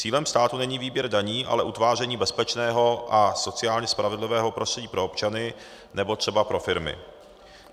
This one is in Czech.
Cílem státu není výběr daní, ale utváření bezpečného a sociálně spravedlivého prostředí pro občany nebo třeba pro firmy.